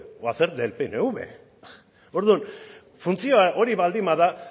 o hacer del pnv orduan funtzioa hori baldin bada